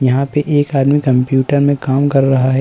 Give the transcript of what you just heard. यहाँ पे एक आदमी कंप्यूटर में काम कर रहा है।